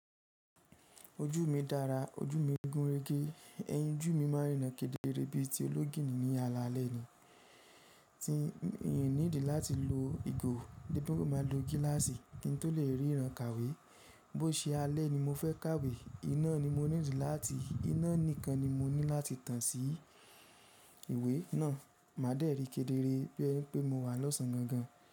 Ojú mi dára, ojú mi gúnrégé, ẹyin ojú mi máa rìn kedere bí i ti ológìnní ní alaalẹ́ ni. Tí èmí n need láti lo ìgò, bí mo bá lo gíláàsì kí n tó le ríran kàwé. Bó ṣe alẹ́ ni mo fẹ́ kàwé, iná ni mo need láti, iná nìkan ni mo ní láti tàn sí ìwé náà. Máa dẹ̀rí kedere bí i pé mo wà lọ́sàn án gan gan.